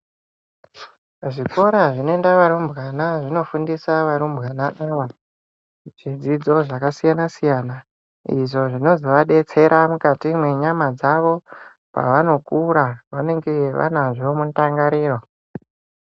Kuzvikora zvinoenda varumbwana zvinofundisa varumbwana ivo, chidzidzo zvakasiyana -siyana izvo zvinozovadetsera mukwati mwenyama dzavo, pavanokura vanenge vanazvo mundangariro.